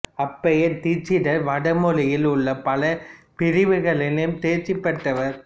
அப்பைய தீட்சிதர் வடமொழியில் உள்ள பல பிரிவுகளிலும் தேர்ச்சி பெற்றவர்